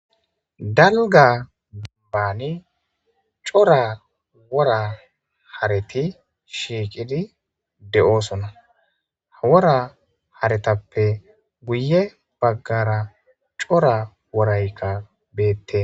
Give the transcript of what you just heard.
Dalga baane cora wora hareti shiqidi de'osona. Wora haretappe guye bagara c'ora worayka beetes.